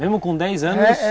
Mesmo com dez anos?